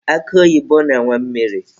Akụ oyibo na-enwe mmiri.